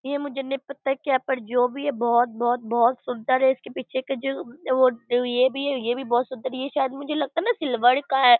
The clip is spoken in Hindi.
ये मुझे नहीं पता की यहाँ पे जो भी है बोहोत बोहोत बोहोत सुंदर है। इसके पीछे का जो वो ये भी है ये भी बोहोत सुंदर है ये शायद मुझे लगता है न सिल्वर का है।